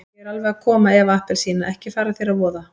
Ég er alveg að koma Eva appelsína, ekki fara þér að voða.